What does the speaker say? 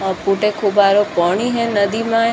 पुट खूब पानी है नदी में।